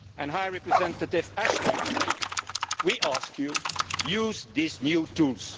High Representative Ashton, we ask you to use these new tools.